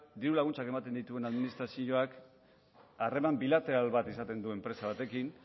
diru laguntzak ematen dituen administrazioak harreman bilateral bat izaten du enpresa batekin